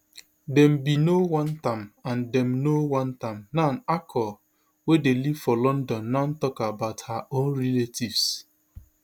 dem bin no want am and dem no want am now akol wey dey live for london now tok about her own relatives